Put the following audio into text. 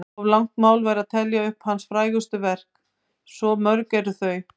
Of langt mál væri að telja upp hans frægustu verk, svo mörg eru þau.